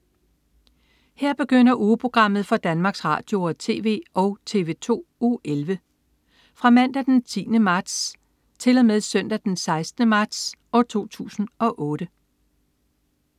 Her begynder ugeprogrammet for Danmarks Radio- og TV og TV2 Uge 11 Fra Mandag den 10. marts 2008 Til Søndag den 16. marts 2008